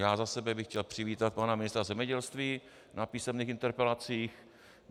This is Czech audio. Já za sebe bych chtěl přivítat pana ministra zemědělství na písemných interpelacích.